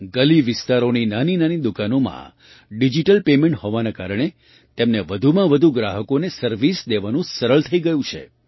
ગલીવિસ્તારોની નાનીનાની દુકાનોમાં digital payment હોવાના કારણે તેમને વધુમાં વધુ ગ્રાહકોને સર્વિસ દેવાનું સરળ થઈ ગયું છે